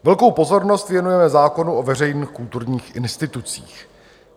Velkou pozornost věnujeme zákonu o veřejných kulturních institucích.